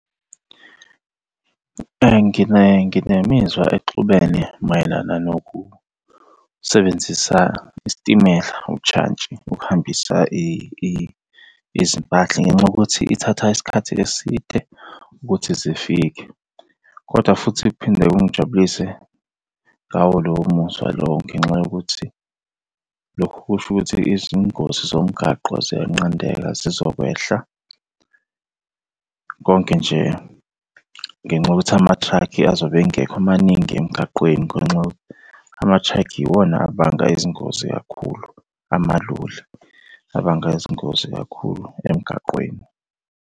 Nginemizwa exubene mayelana nokusebenzisa isitimela, ujantshi ukuhambisa izimpahla ngenxa yokuthi ithatha isikhathi eside ukuthi zifike, kodwa futhi okuphinde kungijabulise ngawo lowo muzwa lowo ngenxa yokuthi lokhu kusho ukuthi izingozi zomgaqo ziyanqandeka zizokwehla. Konke nje ngenxa yokuthi ama-truck azobe engekho maningi emgaqweni ngenxa yokuthi ama-truck iwona abanga izingozi kakhulu, amaloli. Abanga izingozi kakhulu emgaqweni.